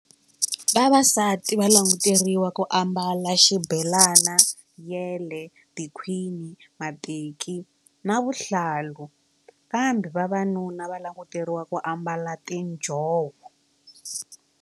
Vavasati va languteriwa ku ambala xibelana yele tikhwini mateki na vuhlalu kambe vavanuna va languteriwa ku ambala tinjhovo.